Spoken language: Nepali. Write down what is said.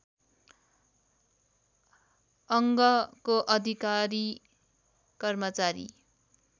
अङ्गको अधिकारी कर्मचारी